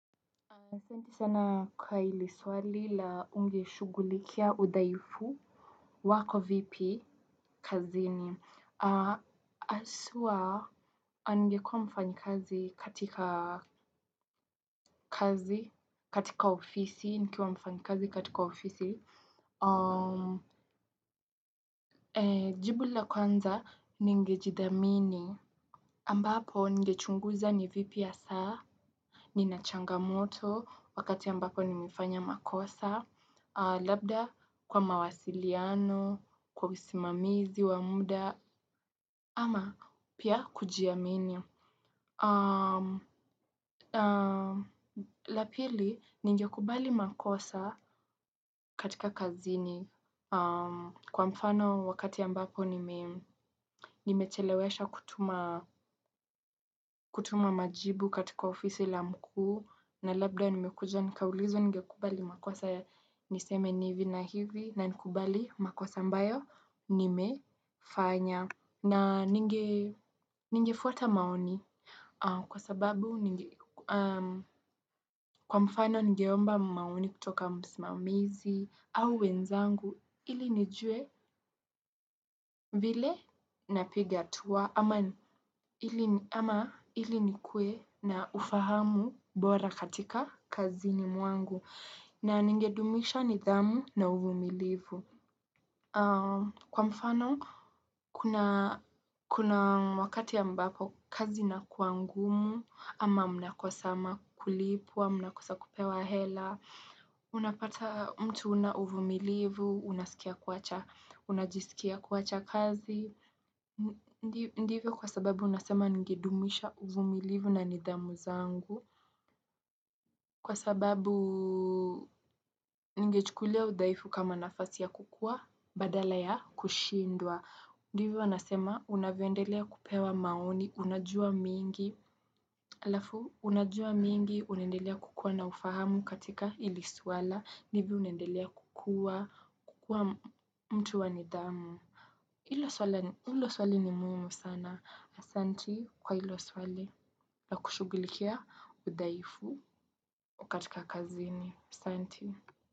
Santi sana kwa ili swali la unge shugulikia udhaifu. Wako vipi kazi ni aswa. Angekua mfanyi kazi katika kazi katika ofisi nikiwa mfanyi kazi katika ofisi. Jibu la kwanza ninge jidhamini ambapo ngechunguza ni vipi asaa. Ninachanga moto wakati ambapo nimifanya makosa labda kwa mawasiliano, kwa usimamizi, wa muda, ama pia kujiamini la pili, ningekubali makosa katika kazini kwa mfano wakati ambapo nimechelewesha kutuma majibu katika ofisi la mkuu na labda nimekuja, nikaulizowa ninge kubali makosa niseme ni hiovi na hivi na nkubali makosa mbayo nimefanya na ninge ningefuata maoni kwa sababu kwa mfano ningeomba maoni kutoka msmamizi au wenzangu ili nijue ili nikuwe na ufahamu bora katika kazini mwangu na ningedumisha nidhamu na uvumilivu kwa mfano. Kuna wakati ya mbapo kazi nakua ngumu, ama mna kosama kulipwa, mna kosa kupewa hela, unapata mtu una uvumilivu, unajisikia kuwacha kazi, ndivyo kwa sababu unasema ningedumisha uvumilivu na nidhamu zangu, kwa sababu ningechukulia udhaifu kama nafasi ya kukua, badala ya kushindwa. Ndivi wanasema unavyoendelea kupewa maoni, unajua mingi, alafu unajua mingi unendelea kukua na ufahamu katika ili swala, nivi unendelea kukua mtu wa nidhamu. Hilo swali ni muhimu sana, asanti kwa hilo swali na kushugulikia udhaifu katika kazini, asanti.